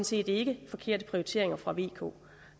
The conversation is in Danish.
set ikke forkerte prioriteringer fra vk